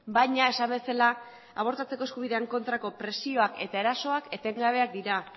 baina esan bezala abortatzeko eskubidearen kontrako presioak eta erasoak etengabeak dira